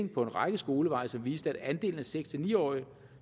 på en række skoleveje som viste at andelen af seks ni årige